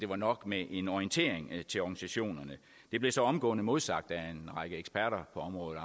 var nok med en orientering til organisationerne det blev så omgående modsagt af en række eksperter på området